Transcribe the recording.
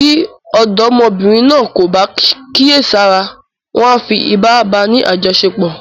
Bí ọ̀dọ́mọbìnrin náà kò bá kíyèsára, wọn a fi ipá báa ni àjọṣepọ̀.